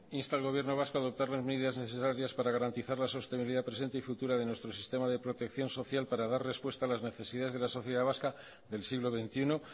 insta al gobierno vasco a adoptar las medidas necesarias para garantizar la sostenibilidad presente y futura de nuestro sistema de protección social para dar respuesta a las necesidades de la sociedad vasca del siglo veintiuno